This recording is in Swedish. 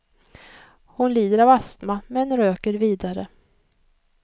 Hon lider av astma, men röker vidare.